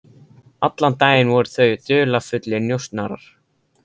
Allan daginn voru þau dularfullir njósnarar.